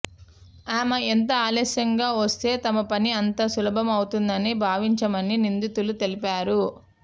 ఆమె ఎంత ఆలస్యంగా వస్తే తమ పని అంత సులభమవుతుందని భావించామని నిందితులు తెలిపారు